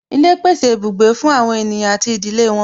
Ilé pèsè ibùgbé fún àwọn ènìyàn àti ìdílé wọn